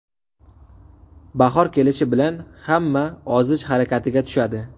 Bahor kelishi bilan hamma ozish harakatiga tushadi.